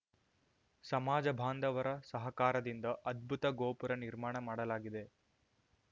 ಸಮಾಜ ಬಾಂಧವರ ಸಹಕಾರದಿಂದ ಅದ್ಭುತ ಗೋಪುರ ನಿರ್ಮಾಣ ಮಾಡಲಾಗಿದೆ